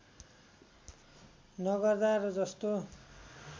नगर्दा र जस्तो